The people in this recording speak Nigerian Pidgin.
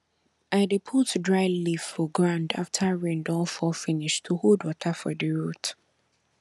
i dey put dry leaf for ground after rain don fall finish to hold water for di root